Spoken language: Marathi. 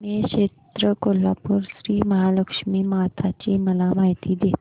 श्री क्षेत्र कोल्हापूर श्रीमहालक्ष्मी माता ची मला माहिती दे